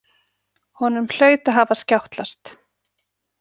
Honum hlaut að hafa skjátlast.